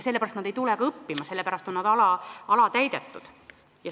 Sellepärast nad ei tule ka õppima, sellepärast need õppekavad on alatäidetud.